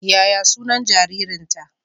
Yaya sunan jaririnta?